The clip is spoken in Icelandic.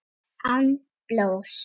Án blóðs.